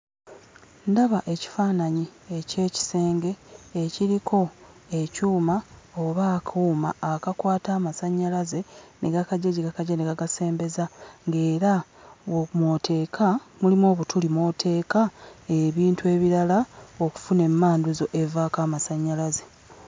Ndaba ekifaananyi eky'ekisenge ekiriko ekyuma oba akuuma akakwata amasannyalaze ne gakaggya gye gakaggya ne gakasembeza, nga era mw'oteeka, mulimu obutuli mw'oteeka ebintu ebirala okufuna emmanduso evaako amasannyalaze.